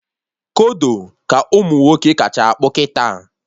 Kodo ka ụmụnwoke kacha akpụ kịta